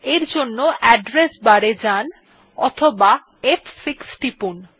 এর জন্য address bar এ যান অথবা ফ6 টিপুন